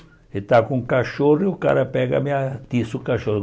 Ele estava com um cachorro e o cara pega me atiça o cachorro.